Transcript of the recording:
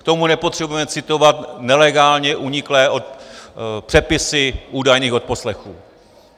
K tomu nepotřebujeme citovat nelegálně uniklé předpisy údajných odposlechů.